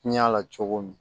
Ɲɛ la cogo min